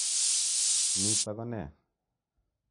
Nitok ko ne?